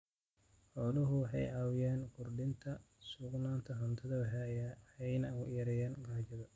Xooluhu waxay caawiyaan kordhinta sugnaanta cuntada waxayna yareeyaan gaajada.